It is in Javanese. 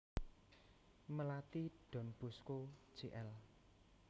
Melati Don Bosco Jl